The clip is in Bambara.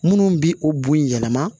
Minnu bɛ o bon yɛlɛma